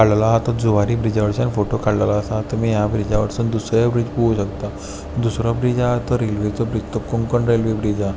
हो काडलेलो आहा तो जुवारी ब्रिजा वयर्चान फोटो काडलेलो आसा तुमी ह्या ब्रिजा वय्र्सून दुसरोय ब्रिज पळोव शक्ता दुसरो ब्रिज आहा तो रेल्वेचो ब्रिज तो कोंकण रेल्वे ब्रिज आहा.